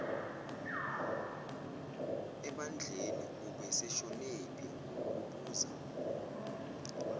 ebandleni ubeseshonephi ubuza